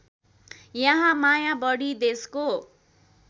यहाँ माया बढी देशको